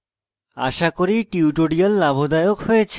আশা করি tutorial লাভদায়ক হয়েছে